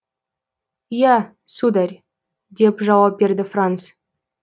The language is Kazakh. иә сударь деп жауап берді франц